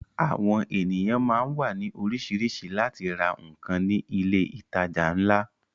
Àwọn ènìyàn máá ń wá ní orísìírísìí láti ra nǹkan ní ilé ìtajà ńlá